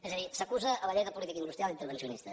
és a dir s’acusa la llei de política industrial d’intervencionista